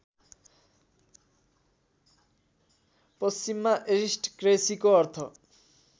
पश्चिममा अरिस्टक्रेसीको अर्थ